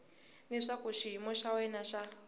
leswaku xiyimo xa wena xa